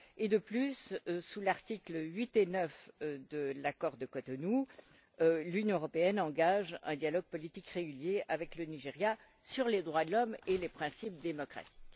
De plus, conformément aux articles 8 et 9 de l'accord de Cotonou, l'Union européenne engage un dialogue politique régulier avec le Nigeria sur les droits de l'homme et les principes démocratiques.